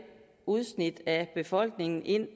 udsnit af befolkningen ind